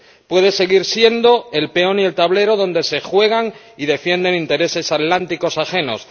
Puede seguir siendo el peón y el tablero donde se juegan y defienden intereses atlánticos ajenos.